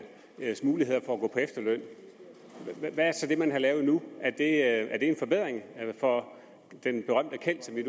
mulighed for at gå på efterløn hvad er så det man har lavet nu er det en forbedring for den berømte kjeld som vi